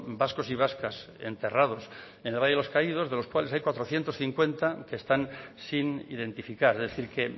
vascos y vascas enterrados en el valle de los caídos de los cuales hay cuatrocientos cincuenta que están sin identificar es decir que